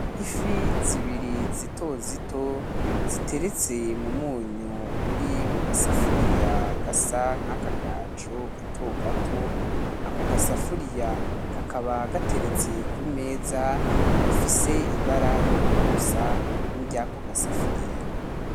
Ifi zibiri zito zito ziteretse mumunyu uri mugasafuriya gasa nkakagaju gato gato. Ako gasafuriya kakaba gateretse kumeza ifise ibara rigomba gusa niryo ryako gasafuriya.